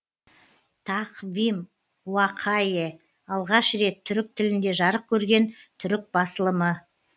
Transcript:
тақвим уақайе алғаш рет түрік тілінде жарық көрген түрік басылымы